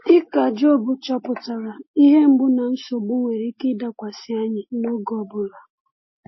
Dịka Jọb chọpụtara, ihe mgbu na nsogbu nwere ike ịdakwasị anyị n’oge ọ bụla.